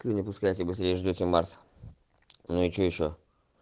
не пускайте последнюю ждёте марс ну и что ещё